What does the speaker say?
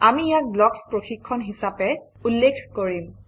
আমি ইয়াক ব্লকছ প্ৰশিক্ষণ হিচাপে উল্লেখ কৰিম